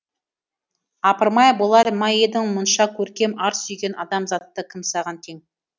апырмай болар ма едің мұнша көркем ар сүйген адамзатта кім саған тең